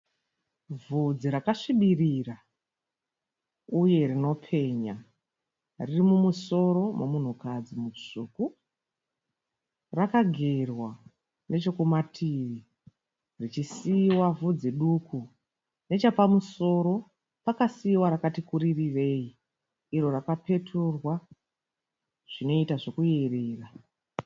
Vhudzi rakasvibirira uye rinopenya. Riri mumusoro momunhukadzi mutsvuku. Rakagerwa nechekumativi richisiiwa vhudzi duku. Nechepamusoro pakaisiwa rakati kuririrei iro rakapeturwa zvinoita zvekuyerera.